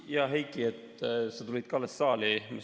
Hea Heiki, sa alles tulid saali.